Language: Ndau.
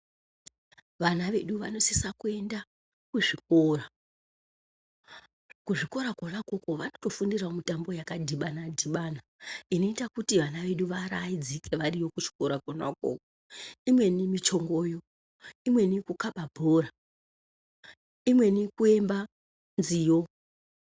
Vana vedu vanosisa kuenda kuzvikora. Kuzvikora kwona ukoko vanotofundirawo mitambo yakadhibana-dhibana. Inoita kuti vana vedu vaaraidzike variyo kuchikora kwona ukoko. Imweni michongoyo, imweni kukhaba bhora, imweni kuimba nziyo.